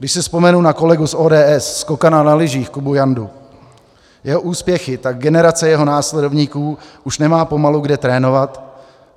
Když si vzpomenu na kolegu z ODS, skokana na lyžích Kubu Jandu, jeho úspěchy, tak generace jeho následovníků už nemá pomalu kde trénovat.